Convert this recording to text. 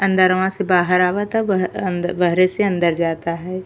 अंदरवा से बाहार आवता। ब अ अंद बहरे से अंदर जाता है।